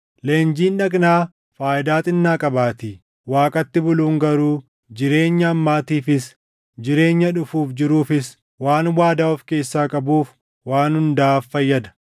Leenjiin dhagnaa faayidaa xinnaa qabaatii; Waaqatti buluun garuu jireenya ammaatiifis jireenya dhufuuf jiruufis waan waadaa of keessaa qabuuf waan hundaaf fayyada.